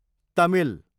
Tamil